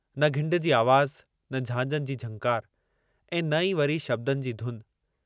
न घिंड जी आवाज़, न झांझनि जी झंकार ऐं न ई वरी शब्दनि जी धुन।